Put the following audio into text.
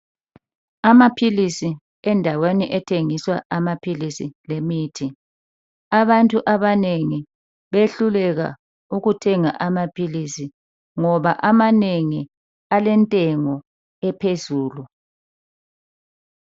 Amaphilisi endaweni ethengiswa amaphilisi lemithi .Abantu abanengi behluleka ukuthenga amaphilisi ngoba amanengi alentengo ephezulu.